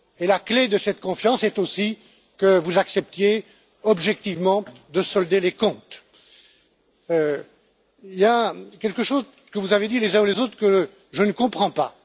La clé de cette confiance est aussi que vous acceptiez objectivement de solder les comptes. Il y a quelque chose que vous avez dit, les uns et les autres, que je ne comprends pas.